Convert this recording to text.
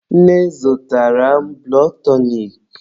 Nne zụtara m bụlọd tọnik.